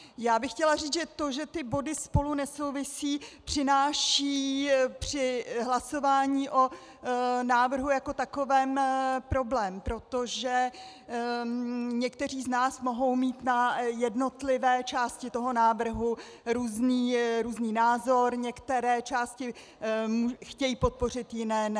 Já bych chtěla říci, že to, že ty body spolu nesouvisí, přináší při hlasování o návrhu jako takovém problém, protože někteří z nás mohou mít na jednotlivé části toho návrhu různý názor, některé části chtějí podpořit, jiné ne.